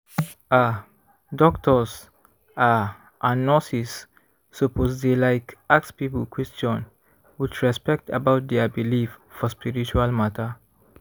ah! doctors ah and nurses suppose dey like ask people question with respect about dia believe for spiritual matter